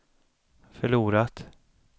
förlorat